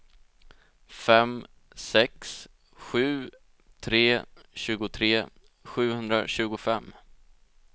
fem sex sju tre tjugotre sjuhundratjugofem